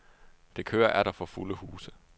Det kører atter for fulde huse.